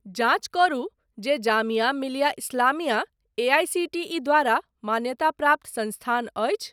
जाँच करू जे जामिया मिलिया इस्लामिया एआईसीटीई द्वारा मान्यताप्राप्त संस्थान अछि ?